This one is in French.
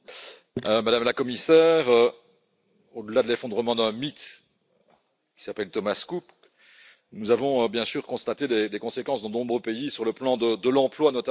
Madame la Commissaire, au delà de l'effondrement d'un mythe, qui s'appelle Thomas Cook, nous avons bien sûr constaté des conséquences dans de nombreux pays sur le plan de l'emploi, notamment.